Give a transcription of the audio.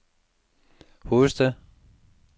hovedstad